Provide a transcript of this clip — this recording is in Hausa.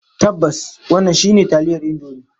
Tabbas, wannan shine taliyar Indomie.